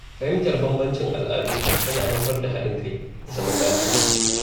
Fahimtar bambancin al’adu yana haifar da haɗin kai da zaman lafiya.